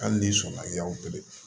Hali n'i sɔnna y'a